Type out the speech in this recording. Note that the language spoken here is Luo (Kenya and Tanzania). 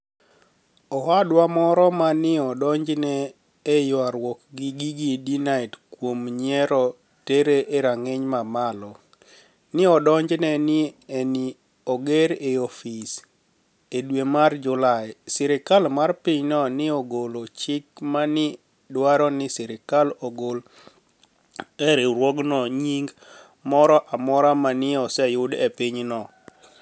Owadwa moro ma ni e odonijo e ywaruok gi Gigi Danite kuom niyiero tere e ranig'iniy mamalo, ni e odonijni e nii ni e oger e ofise,e dwe mar Julai, sirkal mar piny no ni e ogolo chik ma ni e dwaro nii sirkal ogol e riwruogno niyinig moro amora ma ni e oseyudo e piny no.